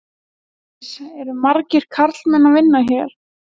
Hjördís: Eru margir karlmenn að vinna hér?